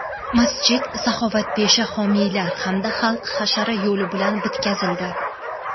Masjid saxovatpesha homiylar hamda xalq hashari yo‘li bilan bitkazildi.